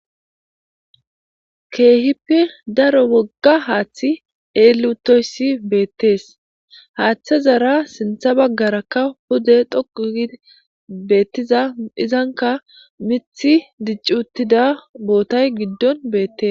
Kehippe daro woga hathi elli utoyis betes hathazara sinitha bagaraka pude dhoqu gidi betiza izanika mithi dici utidayis betes